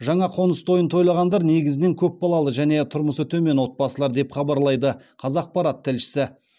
жаңа қоңыс тойын тойлағандар негізінен көпбалалы және тұрмысы төмен отбасылар деп хабарлайды қазақпарат тілшісі